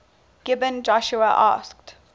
gibeon joshua asked